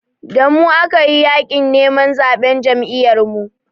Da mu aka yi yaƙin neman zaɓen Jam'iyyarmu.